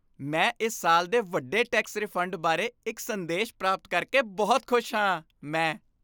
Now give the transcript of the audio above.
ਮੈਂ ਇਸ ਸਾਲ ਦੇ ਵੱਡੇ ਟੈਕਸ ਰਿਫੰਡ ਬਾਰੇ ਇੱਕ ਸੰਦੇਸ਼ ਪ੍ਰਾਪਤ ਕਰਕੇ ਬਹੁਤ ਖੁਸ਼ ਹਾਂ ਮੈਂ